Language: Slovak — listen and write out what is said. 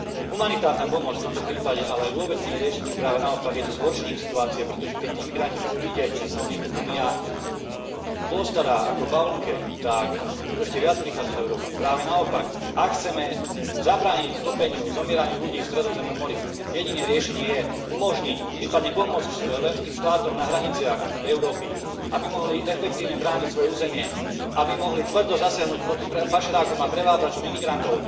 Humanitárna pomoc v tomto prípade ale vôbec nie je riešením, práve naopak, je zhoršením situácie, pretože keď tí imigranti budú vidieť, že sa o nich Únia postará ako v bavlnke, tak budú ešte viac prichádzať do Európy. Práve naopak, ak chceme zabrániť topeniu sa, zomieraniu ľudí v Stredozemnom mori, jediné riešenie je umožniť, prípadne pomôcť členským štátom na hraniciach Európy, aby mohli efektívne brániť svoje územie, aby mohli tvrdo zasiahnuť proti pašerákom a prevádzačom imigrantov,